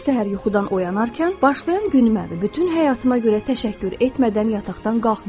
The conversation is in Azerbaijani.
Hər səhər yuxudan oyanarkən, başlayan günümdən və bütün həyatıma görə təşəkkür etmədən yataqdan qalxmıram.